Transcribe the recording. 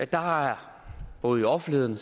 der har både i offentligheden